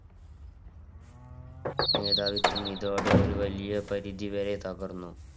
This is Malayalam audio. മേധാവിത്വം ഇതോടെ ഒരു വലിയ പരിതി വരെ തകർന്നു.